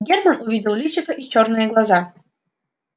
германн увидел личико и чёрные глаза